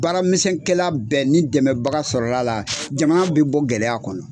Baaramisɛnkɛla bɛɛ ni dɛmɛbaga sɔrɔla la jamana bɛ bɔ gɛlɛya kɔnɔ.